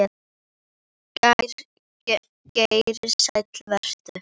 Geir Sæll vertu.